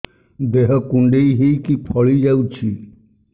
ଦେହ କୁଣ୍ଡେଇ ହେଇକି ଫଳି ଯାଉଛି